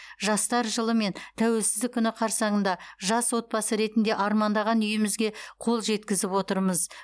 жастар жылы мен тәуелсіздік күні қарсаңында жас отбасы ретінде армандаған үйімізге қол жеткізіп отырмыз